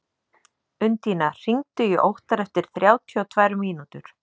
Undína, hringdu í Óttar eftir þrjátíu og tvær mínútur.